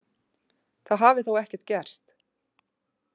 Það hafi þó ekkert gerst.